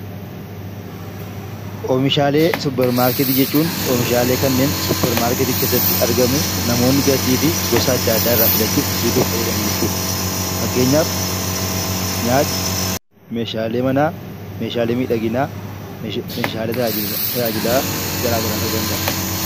Oomishaalee Suppermaarkeetii jechuun oomishaalee kanneen Suppermaarkeetii keessatti argamu namoonni gatii fi gosa adda addaa irraa filachuun bituuf fayyadamu jechuudha. Fakkeenyaaf, nyaata, meeshaalee manaa, meeshaalee miidhaginaa, meeshaalee tajaajila gara garaa ta'uu danda’a.